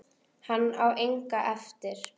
Hann á enga eftir.